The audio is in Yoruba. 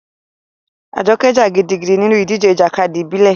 Ajoke jà gidigidi nínú ìdíje ìjàkadì ìbílẹ̀.